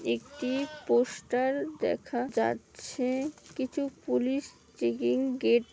একটি পোস্টার দেখা যাচ্ছে। কিছু পুলিশ গেট --